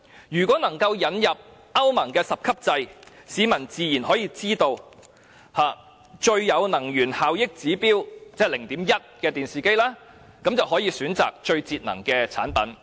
如果能夠引入歐盟的十級制，市民自然可以識別最具能源效益——即指數 0.1—— 的電視機，並選擇最節能的產品。